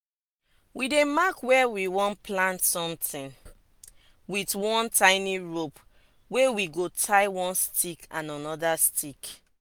we dey mark where we wan plant somtin with one tiny rope wey we go tie one stick and anoda stick.